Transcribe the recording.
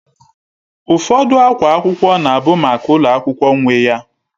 Ụfọdụ akwa akwụkwọ na-abụ maka ulo akwukwo nwe ya